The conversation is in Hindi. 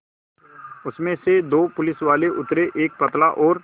उसमें से दो पुलिसवाले उतरे एक पतला और